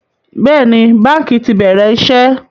Bẹ́ẹ̀ni, báńkì ti bẹ̀rẹ̀ iṣẹ́